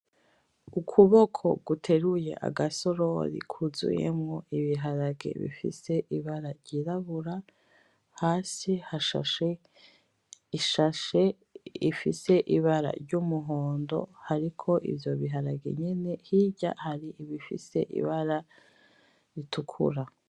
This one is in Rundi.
Ukuboko guteruye agasorori kuzuyemwo ibiharage bifise ibara ry'irabura, hasi hashashe ishashe ifise ibara ry'umuhondo. Ariko ivyo biharage nyene hirya hari ibifise ibara ritukura.